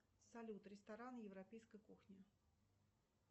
салют рестораны европейской кухни